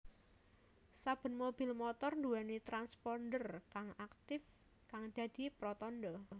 Saben mobil motor nduwèni transponder kang aktif kang dadi pratandha